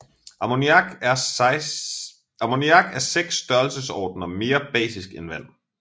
Ammoniak er 6 størrelsesordener mere basisk end vand